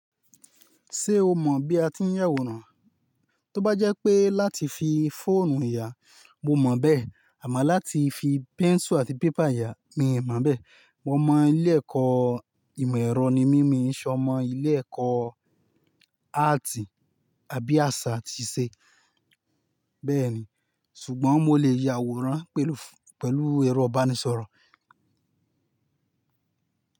Ṣé o mọ̀ bí a ti ń yàwòrán? Tóbá jẹ́ pé láti fi fóònù yà, mo mọ̀ bẹ́ẹ̀. Àmo láti fi pencil àti paper yà, mi ò mọ̀ bẹ́ẹ̀. Omọ ilé ẹ̀kọ́ ìmọ̀ ẹ̀rọ ni mi, mii ṣ'ọmọ́ ilé ẹ̀kọ́ áàtì àbí àṣà atì iṣe. Bẹ́ẹ̀ni, ṣùgbọ́n mo lè ya àwòrán pẹ̀lú, pẹ̀lú ẹ̀rọ ìbánisọ̀rọ̀.